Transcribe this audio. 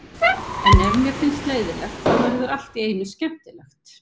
En ef mér finnst leiðinlegt, þá verður allt í einu skemmtilegt.